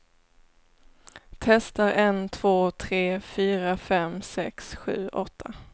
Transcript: Testar en två tre fyra fem sex sju åtta.